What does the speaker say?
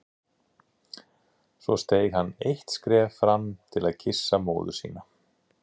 Svo steig hann eitt skref fram til að kyssa móður sína.